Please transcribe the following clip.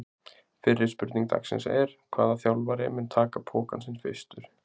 Fyrri spurning dagsins er: Hvaða þjálfari mun taka pokann sinn fyrstur?